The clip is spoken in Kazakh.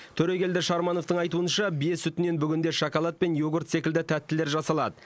төрегелді шармановтың айтуынша бие сүтінен бүгінде шоколад пен йогурт секілді тәттілер жасалады